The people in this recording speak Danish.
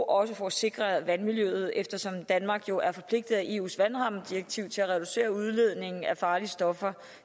også for at sikre vandmiljøet eftersom danmark jo er forpligtet af eus vandrammedirektiv til at reducere udledningen af farlige stoffer